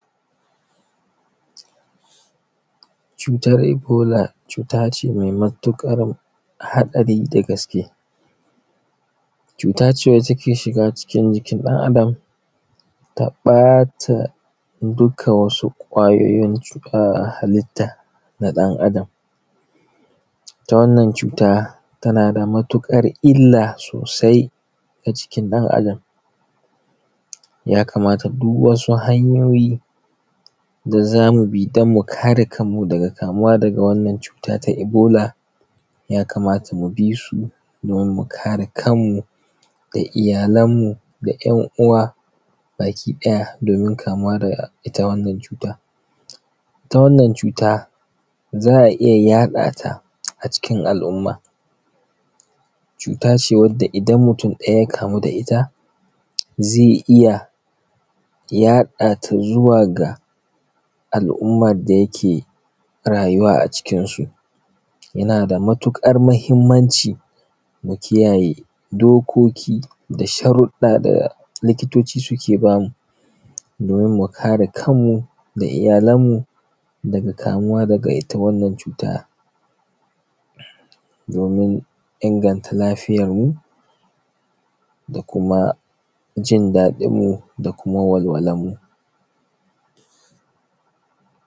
Cutar ebola cutace mai matuƙar haɗari da gaske. Cutace wacce ke shiga cikin jikin ɗan Adam ta ɓata dukka wasu kwayoyin um halitta na ɗan Adam, ita wannan cuta tanada matuƙar illa sosai ga jikin ɗan Adam. Yakamata duk wasu hanyoyi da zamubi danmu kare kanmu daga kamuwa daga wannan cuta ta ebola yakamata mubisu domin mu kare kanmu da iyyalan mu da ‘yan’ uwa baki ɗaya daga kamuwa daga wannan cuta.. Ita wannan cuta za’a iyya yaɗata cikin al’umma cutace wadda idan mutun ɗaya ya kamu da ita zai iya yaɗata zuwa al umman da yake rayuwa a cikin su. Yanada matuƙar mahimmanci mu kiyaye dokoki da sharuɗɗa da likitoci suke bamu domin mukare kanmu da iyyalan mu daga itta wannan cuta domin inagnta lafiyar mu da kuma jinda ɗinmu da walwalan mu.